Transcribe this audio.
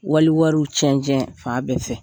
Wali wari tiɲɛ-tiɲɛ fan bɛɛ fɛ